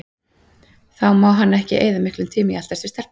Þá má hann ekki eyða miklum tíma í að eltast við stelpur.